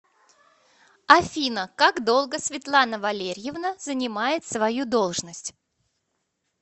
афина как долго светлана валерьевна занимает свою должность